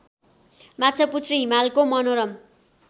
माछापुच्छ्रे हिमालको मनोरम